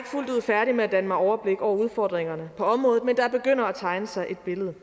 fuldt ud færdig med at danne mig et overblik over udfordringerne på området men der begynder at tegne sig et billede